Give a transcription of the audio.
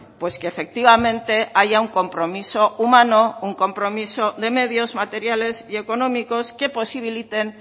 pues que efectivamente haya un compromiso humano un compromiso de medios materiales y económicos que posibiliten